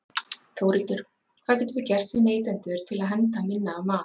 Þórhildur: Hvað getum við gert sem neytendur til að henda minna af mat?